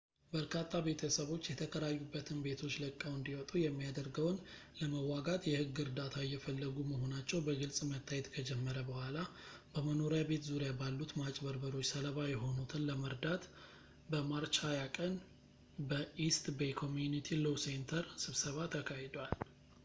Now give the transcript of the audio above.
በርካታ ቤተሰቦች የተከራዩበትን ቤቶች ለቀው እንዲወጡ የሚያደርገውን ለመዋጋት የሕግ እርዳታ እየፈለጉ መሆናቸው በግልፅ መታየት ከጀመረ በኋላ፣ በመኖሪያ ቤት ዙሪያ ባሉት ማጭበርበሮች ሰለባ የሆኑትን ለመርዳት በmarch 20 ቀን በeast bay community law center ስብሰባ ተካሂዷል